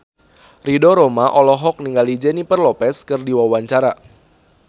Ridho Roma olohok ningali Jennifer Lopez keur diwawancara